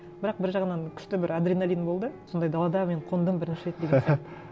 бірақ бір жағынан күшті бір адреналин болды сондай далада мен қондым бірінші рет деген сияқты